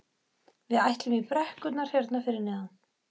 Við ætlum í brekkurnar hérna fyrir neðan.